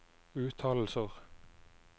uttalelser